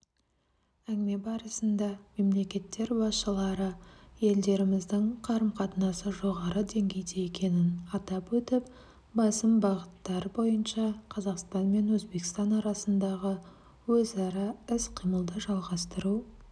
әңгіме барысында мемлекеттер басшылары елдеріміздің қарым-қатынасы жоғары деңгейде екенін атап өтіп басым бағыттар бойынша қазақстан мен өзбекстан арасындағы өзара іс-қимылды жалғастыру